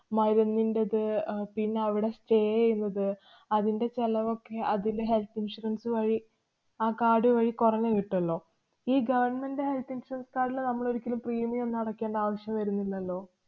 മരുന്നിന്‍റേത്, അഹ് പിന്ന അവടെ stay എയ്യുന്നത്, അതിന്‍റെ ചെലവൊക്കെ അതില് health insurance വഴി ആ card വഴി കുറഞ്ഞു കിട്ടുമല്ലോ. ഈ government health insurance card ല് നമ്മളൊരിക്കലും premium ന്നും അടക്കേണ്ട ആവശ്യം വരുന്നില്ലല്ലോ.